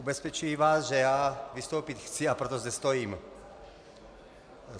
Ubezpečují vás, že já vystoupit chci, a proto zde stojím.